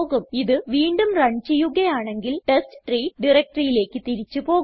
ഇത് വീണ്ടും റൺ ചെയ്യുകയാണെങ്കിൽ ടെസ്റ്റ്രീ directoryയിലേക്ക് തിരിച്ച് പോകും